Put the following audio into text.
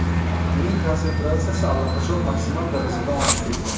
Uning konsentratsiyasi allaqachon maksimal darajadan oshib ketgan.